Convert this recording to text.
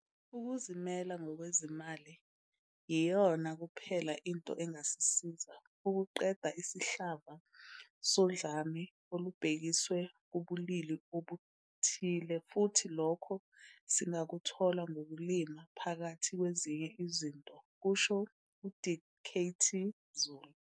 "Ukuzimela ngokwezimali yiyona kuphela into engasisiza ukuqeda isihlava sodlame olubhekiswe kubulili obuthile futhi lokho singakuthola ngokulima, phakathi kwezinye izinto," kusho u-Dkt Zulu.